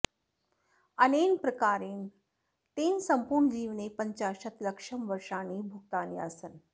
अनेन प्रकारेण तेन सम्पूर्णजीवने पञ्चाशत् लक्षं वर्षाणि भुक्तानि आसन्